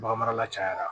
Bagan marala cayara